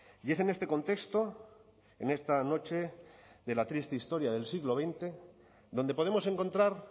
y es en este contexto en esta noche de la triste historia del siglo veinte donde podemos encontrar